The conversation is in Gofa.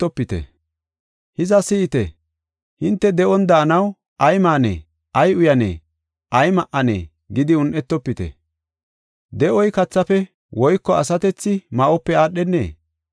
“Hiza, si7ite! Hinte de7on daanaw, ‘Ay maanee? Ay uyanee? Ay ma7anee?’ gidi un7etofite; de7oy kathafe woyko asatethi ma7ope aadhenee?